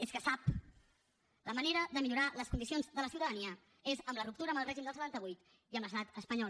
és que sap la manera de millorar les condicions de la ciutadania és amb la ruptura amb el règim del setanta vuit i amb l’estat espanyol